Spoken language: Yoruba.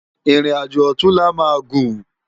Irin ájó òtúnlá má gún